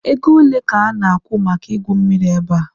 Ego ole ka ha na-akwụ maka igwu mmiri ebe a?